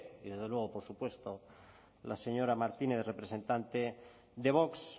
y desde luego por supuesto la señora martínez representante de vox